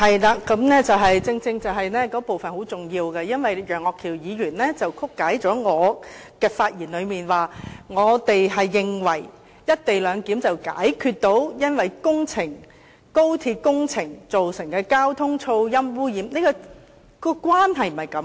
那部分正正是很重要的，因為楊岳橋議員曲解了我的發言，指我們認為實行"一地兩檢"能解決高鐵工程所造成的交通、噪音和污染問題，但當中的關係並非如此。